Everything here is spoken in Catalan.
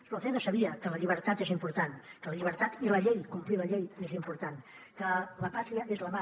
espronceda sabia que la llibertat és important que la llibertat i la llei complir la llei és important que la pàtria és la mar